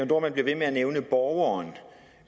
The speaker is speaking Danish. dohrmann bliver ved med at nævne borgeren